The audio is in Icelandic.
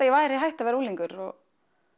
ég væri hætt að vera unglingur og